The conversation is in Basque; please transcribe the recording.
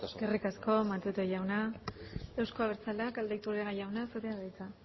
eskerrik asko matute jauna euzko abertzaleak aldaiturriaga jauna zurea da hitza